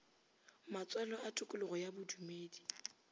matswalo a tokologo ya bodumedi